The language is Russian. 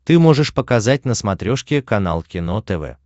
ты можешь показать на смотрешке канал кино тв